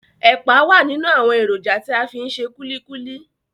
Ẹ̀pà wà nínú àwọn èròjà tí a fi ń ṣe kulikuli.